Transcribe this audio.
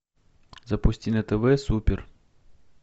запусти на тв супер